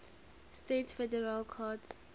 states federal courts